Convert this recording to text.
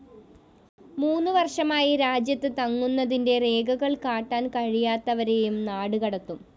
മൂന്ന് വര്‍ഷമായി രാജ്യത്ത് തങ്ങുന്നതിന്റെ രേഖകള്‍ കാട്ടാന്‍ കഴിയാത്തവരെയും നാടുകടത്തും